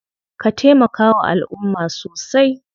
Ka taimakawa alumma sosai.